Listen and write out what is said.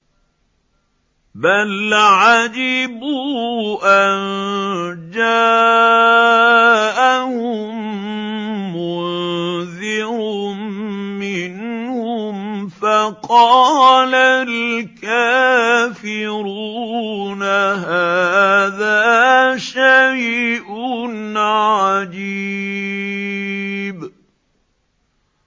بَلْ عَجِبُوا أَن جَاءَهُم مُّنذِرٌ مِّنْهُمْ فَقَالَ الْكَافِرُونَ هَٰذَا شَيْءٌ عَجِيبٌ